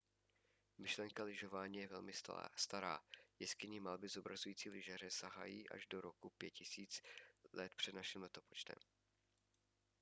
myšlenka lyžování je velmi stará. jeskynní malby zobrazující lyžaře sahají až do roku 5000 př.n.l!